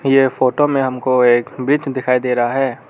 ये फोटो में हमको एक ब्रिज दिखाई दे रहा है।